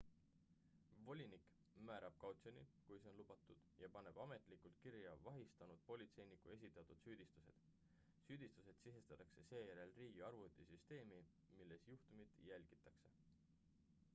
volinik määrab kautsjoni kui see on lubatud ja paneb ametlikult kirja vahistanud politseiniku esitatud süüdistused süüdistused sisestatakse seejärel riigi arvutisüsteemi milles juhtumit jälgitakse